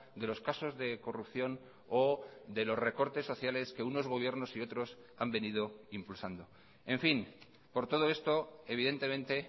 de los casos de corrupción o de los recortes sociales que unos gobiernos y otros han venido impulsando en fin por todo esto evidentemente